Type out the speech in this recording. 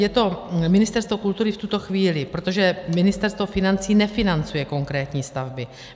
Je to Ministerstvo kultury v tuto chvíli, protože Ministerstvo financí nefinancuje konkrétní stavby.